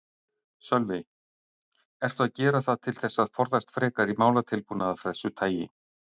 Sölvi: Ertu að gera það til þess að forðast frekari málatilbúnað af þessu tagi?